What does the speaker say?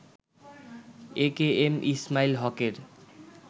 এ K M Ismail হকের